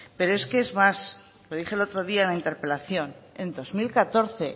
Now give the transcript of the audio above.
pero es que es más lo dije el otro día en la interpelación en dos mil catorce